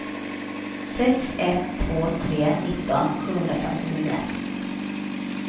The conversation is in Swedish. sex ett två tre nitton sjuhundrafemtionio